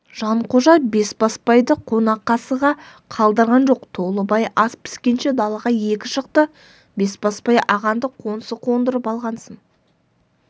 жанқожа бесбасбайды қонақасыға қалдырған жоқ толыбай ас піскенше далаға екі шықты бесбасбай ағаңды қоңсы қондырып алғансың